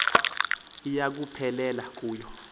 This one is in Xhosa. iya kuphelela kuyo